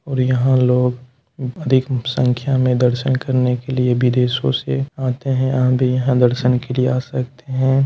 और यहाँ लोग अधिक संख्या में दर्शन करने के लिए विदेशों से आते हैं आप भी यहां दर्शन के लिए आ सकते हैं।